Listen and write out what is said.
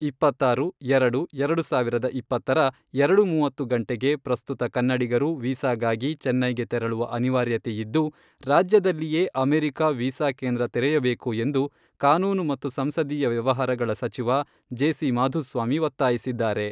ಇಪ್ಪತ್ತಾರು, ಎರಡು, ಎರಡು ಸಾವಿರದ ಇಪ್ಪತ್ತರ, ಎರಡು ಮೂವತ್ತು ಗಂಟೆಗೆ ಪ್ರಸ್ತುತ ಕನ್ನಡಿಗರು ವೀಸಾಗಾಗಿ ಚೆನ್ನೈಗೆ ತೆರಳುವ ಅನಿವಾರ್ಯತೆಯಿದ್ದು, ರಾಜ್ಯದಲ್ಲಿಯೇ ಅಮೇರಿಕಾ ವೀಸಾ ಕೇಂದ್ರ ತೆರೆಯಬೇಕು ಎಂದು ಕಾನೂನು ಮತ್ತು ಸಂಸದೀಯ ವ್ಯವಹಾರಗಳ ಸಚಿವ ಜೆ.ಸಿ, ಮಾಧುಸ್ವಾಮಿ ಒತ್ತಾಯಿಸಿದ್ದಾರೆ.